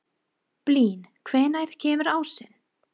Blín, hvenær kemur ásinn?